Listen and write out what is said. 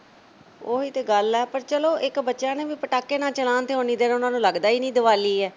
ਤਾਂ ਗੱਲ ਐ ਪਰ ਚਲੋ ਇੱਕ ਬੱਚਿਆਂ ਨੇ ਵੀ ਪਟਾਕੇ ਨਾ ਚਲਾਣ ਤੇ ਉਨ੍ਹੀ ਦੇਰ ਉਨ੍ਹਾਂ ਨੂੰ ਲੱਗਦਾ ਹੀ ਨਹੀਂ ਕੇ ਦੀਵਾਲੀ ਐ